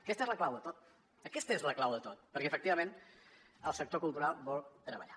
aquesta és la clau de tot aquesta és la clau de tot perquè efectivament el sector cultural vol treballar